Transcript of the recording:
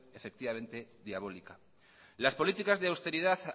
diabólica las políticas de austeridad